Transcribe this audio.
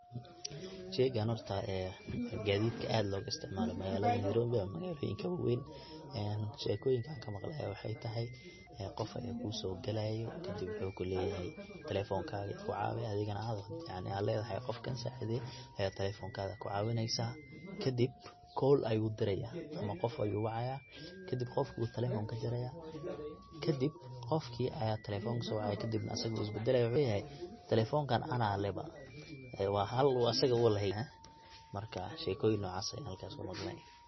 sheygan horta ee waa gadiidkaaadka loga isticmaalo magalada nairobi mise magaaloyinka waweyn ee sheekoyinka an kamaqle aya waxa tahay ee qof aya kuso gelaya kadib wuxuu kuleyahay talefonkaga igu caawi adigana inta ad ledahay qofkan saacidee ayad talefonkaga kucaawineysa kadib call ayu diraya mise qof ayuu wacaya, kadib qofki ayu talefonkaga kajaraya, kadib qofkii aya talefonk soo wacayakadib asaga wuu isbadalaya, wuxuu leyahay talefonkan ana leh ba waa xaal uu asaga leheyn marka sheekoyin nocas ayan halka kumaqlee